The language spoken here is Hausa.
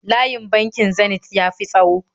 Layin bankin Zenith ya ti tsawo